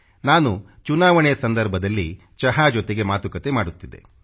ನಾನು ಚುನಾವಣೆ ಸಂದರ್ಭದಲ್ಲಿ ಚಹಾ ಜೊತೆಗೆ ಮಾತುಕತೆ ಮಾಡುತ್ತಿದ್ದೆ